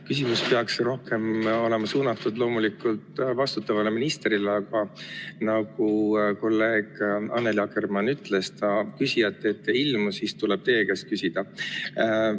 Loomulikult peaks küsimus olema suunatud vastutavale ministrile, aga nagu kolleeg Annely Akkermann ütles, tema küsijate ette ei ilmu, nii et siis tuleb teie käest küsida.